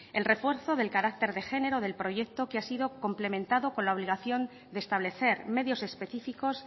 el refuerzo del carácter de género del proyecto que ha sido complementado con la obligación de establecer medios específicos